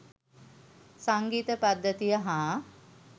සංගීත පද්ධතිය හා